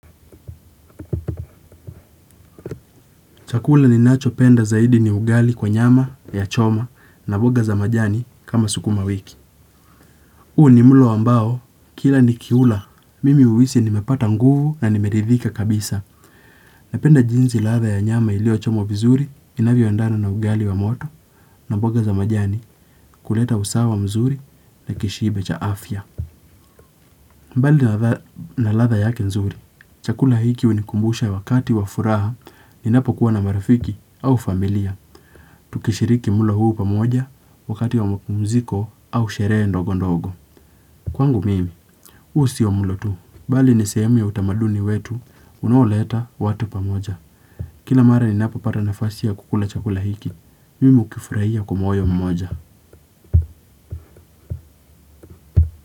Chakula ninachopenda zaidi ni ugali kwa nyama ya choma na mboga za majani kama sukuma wiki huu ni mlo ambao, kila ni kiula, mimi huhisi nimepata nguvu na nimeridhika kabisa. Napenda jinsi ladha ya nyama iliochomwa vizuri, inavyoendana na ugali wa moto na mboga za majani kuleta usawa mzuri na kishibe cha afya. Mbali na ladha yake nzuri, chakula hiki hunikumbusha wakati wa furaha, ninapo kuwa na marafiki au familia. Tukishiriki mlo huu pamoja wakati wa mapumziko au sherehe ndogo ndogo. Kwangu mimi, huu siyo mlo tu. Bali ni sehemu ya utamaduni wetu, unaoleta watu pamoja. Kila mara ninapopata nafasi ya kukula chakula hiki, mimi hukifurahia kwa moyo mmoja.